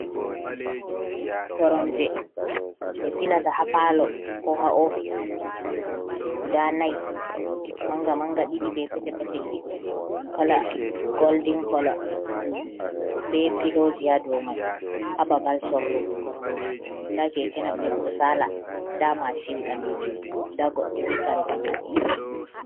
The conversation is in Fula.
Koromje ɓe silata ha pallo ko ha office guda nai Manga Manga ɗiɗi be petel petel ɗiɗi, Golden colour be filoji ha doumai ha babal sorrugo koromje, Nda keke napep ɗo sala nda machine ɓalejum nda goɗdo be kare ɓalejum